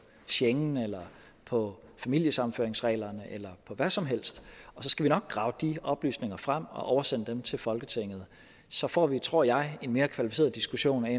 schengen eller på familiesammenføringsreglerne eller på hvad som helst og så skal vi nok grave de oplysninger frem og oversende dem til folketinget så får vi tror jeg en mere kvalificeret diskussion i